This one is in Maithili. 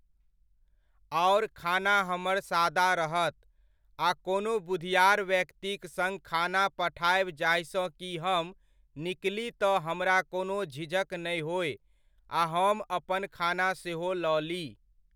आओर खाना हमर सादा रहत, आ कोनो बुधिआर व्यक्तिक सङ्ग खाना पठायब जाहिसॅं कि हम निकली तऽ हमरा कोनो झिझक नहि होय आ हम अपन खाना सेहो लऽ ली।